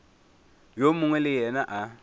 yo mongwe le yena a